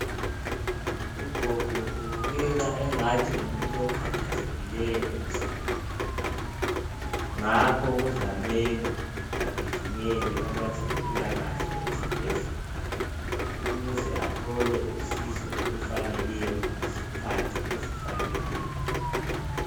ugogo ubukeka engani ngumuntu okhathazekileyo emzimbeni wakhe ngakho kuzamele agijimele kwabezempila kahle esibhedlela ukuze athole usizo olufaneleyo ngesikhathi esifaneleyo